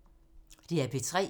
DR P3